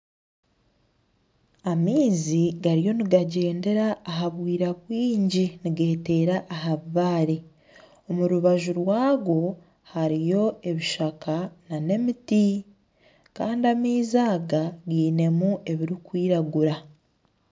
Amaizi hariyo nigagyendera aha bwira bwingi nigeteera aha bibaare omu rubaju rwago hariyo ebishaka nana emiti Kandi amaizi aga gainemu ebirikwiragura